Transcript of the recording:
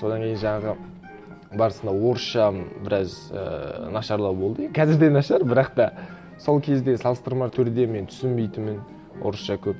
содан кейін жаңағы барысында орысша біраз ііі нашарлау болды и қазір де нашар бірақ та сол кезде салыстырмалы түрде мен түсінбейтінмін орысша көп